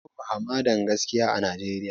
Babu hamadan gaskiya a Najeriya